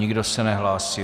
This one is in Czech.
Nikdo se nehlásí.